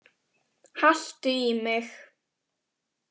Haltu í mig.